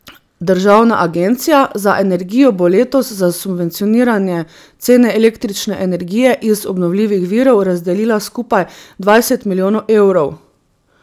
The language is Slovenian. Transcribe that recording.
Državna agencija za energijo bo letos za subvencioniranje cene električne energije iz obnovljivih virov razdelila skupaj dvajset milijonov evrov.